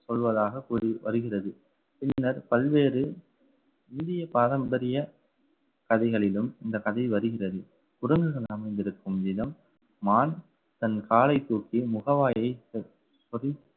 சொல்வதாக கூறி வருகிறது. பின்னர் பல்வேறு இந்திய பாரம்பரிய கதைகளிலும் இந்த கதை வருகிறது. அமைந்திருக்கும் விதம் மான் தன் காலைத் தூக்கி முகவாயை பதித்து